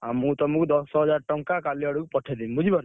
ଆଉ ମୁଁ ତମୁକୁ ଦଶହଜାର ଟଙ୍କା କାଲି ଆଡକୁ ପଠେଇଦେବି ବୁଝିପାରୁଛ?